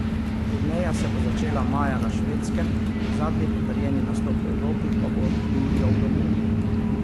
Turneja se bo začela maja na Švedskem, zadnji potrjeni nastop v Evropi pa bo julija v Romuniji.